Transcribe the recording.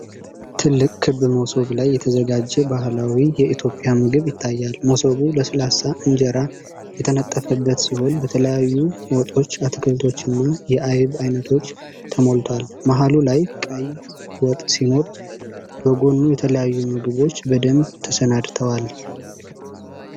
ትልቅ ክብ መሶብ ላይ የተዘጋጀ ባህላዊ የኢትዮጵያ ምግብ ይታያል። መሶቡ ለስላሳ እንጀራ የተነጠፈበት ሲሆን፣ በተለያዩ ወጦች፣ አትክልቶችና የአይብ አይነቶች ተሞልቷል። መሃሉ ላይ ቀይ ወጥ ሲኖር፣ በጎኑ የተለያዩ ምግቦች በደንብ ተሰናድተዋል።